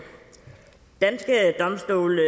danske domstole